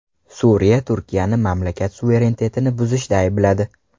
Suriya Turkiyani mamlakat suverenitetini buzishda aybladi.